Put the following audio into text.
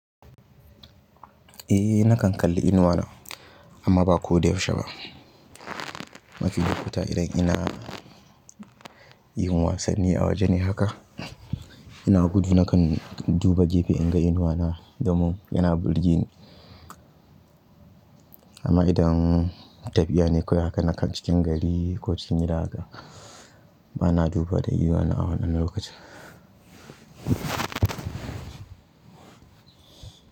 Eh nakan kalli inuwa na amma ba ko da yaushe ba. Mafi lokuta idan ina yin wasanni a waje ne haka ina gudu na kn duba gefe in ga inuwa na domin yana burge ni. Amma idan tafiya ne kawai haka nakan cikin gari ko cikin gida haka bana duba da inuwa na a wannan lokaci.